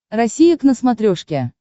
россия к на смотрешке